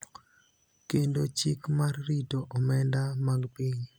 kendo Chik mar rito omenda mag piny.